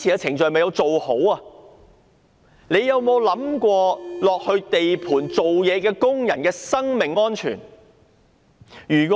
當局有否想過在地盤工作的工人的生命安全呢？